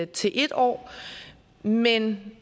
til en år men